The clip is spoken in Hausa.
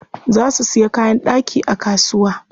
Za su siya kayan ɗaki a kasuwa.